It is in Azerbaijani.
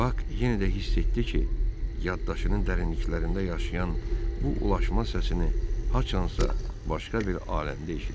Bak yenə də hiss etdi ki, yaddaşının dərinliklərində yaşayan bu ulama səsininə haçansa başqa bir aləmdə eşidib.